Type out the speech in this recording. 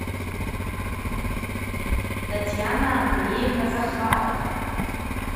татьяна андреевна захарова